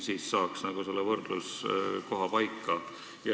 Siis saaksime selle võrdluskoha paika.